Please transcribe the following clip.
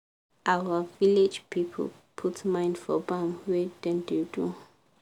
our village people put mind for bam wey dem da do